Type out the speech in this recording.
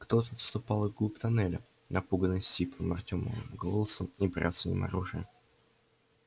кто-то отступал вглубь туннеля напуганный сиплым артёмовым голосом и бряцанием оружия